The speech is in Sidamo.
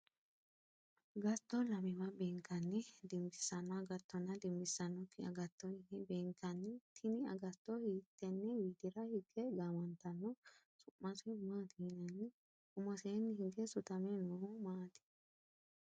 Agatto lamewa beenkanni dinbisano agatonna dinbissanoki agatto yine beenkanni tinni agatto hiitene widira hige gaamantano? Su'mase maati yinnanni? Umoseenni hige sutame noohu maati?